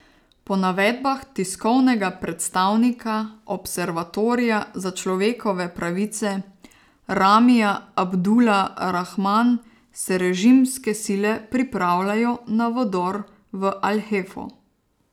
Po navedbah tiskovnega predstavnika observatorija za človekove pravice Ramija Abdula Rahman se režimske sile pripravljajo na vdor v al Hefo.